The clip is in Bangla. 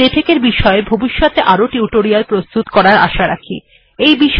আমরা লেটেক্ এর বিষয় ভবিষ্যতে আরো মৌখিক টিউটোরিয়াল প্রস্তুত করার ও আশা রাখি